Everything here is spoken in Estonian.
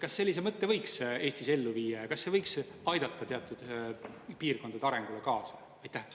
Kas sellise mõtte võiks Eestis ellu viia ja kas see võiks aidata teatud piirkondade arengule kaasa?